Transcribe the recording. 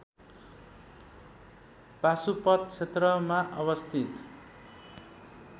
पाशुपत क्षेत्रमा अवस्थित